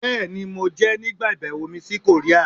Bẹ́ẹ̀ni! Mo jẹ ẹ nigba ibẹwo mi si Korea